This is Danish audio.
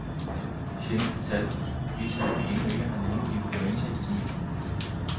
De seneste tal viser, at vi endnu ikke har nogen influenzaepidemi.